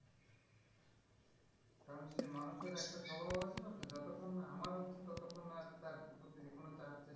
কারণ সেই মানুষের একটা স্বভাব আছে না যে যতক্ষণ না আমার হচ্ছে ততোক্ষণ আর তার যে কোন